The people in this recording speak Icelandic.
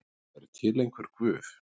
er til einhver guð